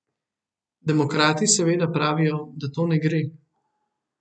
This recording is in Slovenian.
Demokrati seveda pravijo, da to ne gre.